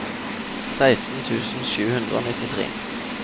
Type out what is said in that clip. seksten tusen sju hundre og nittitre